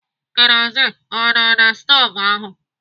Kerozin ọ nọ na na stovu ahụ?